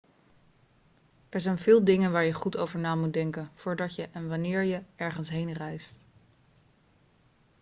er zijn veel dingen waar je goed over na moet denken voordat je en wanneer je ergens heen reist